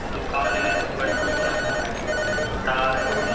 दुकान है ऊपर टीना है तार है।